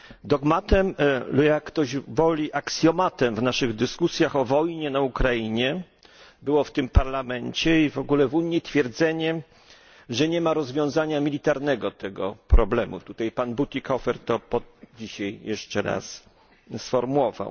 Dogmatem lub, jak ktoś woli, aksjomatem w naszych dyskusjach o wojnie na Ukrainie było tu w Parlamencie i w ogóle w Unii twierdzenie, że nie ma rozwiązania militarnego tego problemu tutaj pan Bütikofer to dzisiaj jeszcze raz sformułował.